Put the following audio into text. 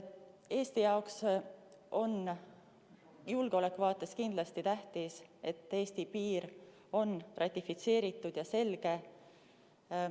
Eesti jaoks on julgeoleku vaates kindlasti tähtis, et Eesti piir on ratifitseeritud ja selge.